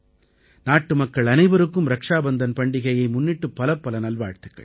நாட்டுமக்கள் அனைவருக்கும் ரக்ஷாபந்தன் பண்டிகையை முன்னிட்டு பலப்பல நல்வாழ்த்துக்கள்